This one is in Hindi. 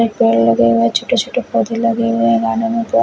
एक पेड़ लगाया हुआ है छोटे छोटे पोधे लगे हुए हैं --